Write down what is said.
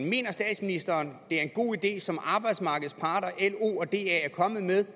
mener statsministeren det er en god idé som arbejdsmarkedets parter lo og da er kommet med